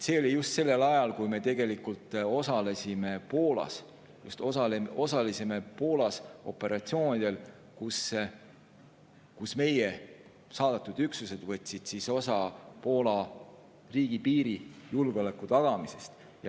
See oli just sellel ajal, kui me osalesime operatsioonidel Poolas, meie saadetud üksused võtsid osa Poola riigipiiri julgeoleku tagamisest.